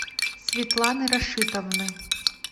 светланы рашитовны